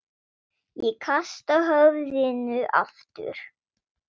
Ég kasta höfðinu aftur.